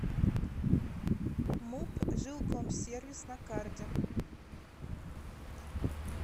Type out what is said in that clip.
муп жилкомсервис на карте